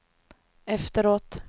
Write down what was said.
efteråt